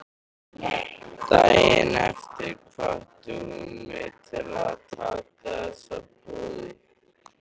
Daginn eftir hvatti hún mig til að taka þessu boði.